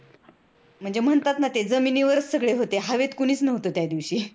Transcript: म्हणजे म्हणतात ना ते जमिनीवरच सगळे होते, हवेत कोणीच नव्हतं त्यादिवशी.